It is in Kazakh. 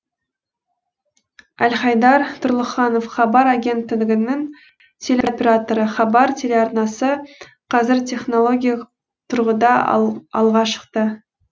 әлхайдар тұрлыханов хабар агенттігінің телеоператоры хабар телеарнасы қазір технологиялық тұрғыда алға шықты